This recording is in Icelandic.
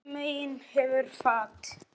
Báðum megin hefur fat.